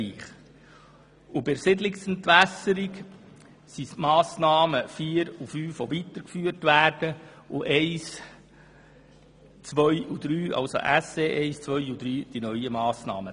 Bei der Siedlungsentwässerung werden die Massnahmen SE-4 und SE-5 weitergeführt, während SE-1, SE-2 und SE-3 neu sind.